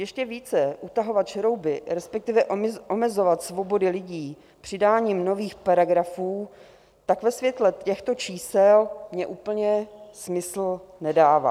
Ještě více utahovat šrouby, respektive omezovat svobody lidí přidáním nových paragrafů, tak ve světle těchto čísel mně úplně smysl nedává.